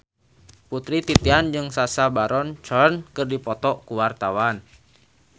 Putri Titian jeung Sacha Baron Cohen keur dipoto ku wartawan